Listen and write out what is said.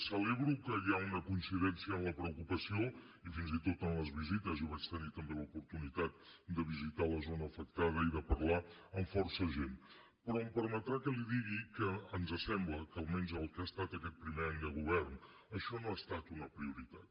celebro que hi hagi una coincidència en la preocupació i fins i tot en les visites jo vaig tenir també l’oportunitat de visitar la zona afectada i de parlar amb força gent però em permetrà que li digui que ens sembla que almenys en el que ha estat aquest primer any de govern això no ha estat una prioritat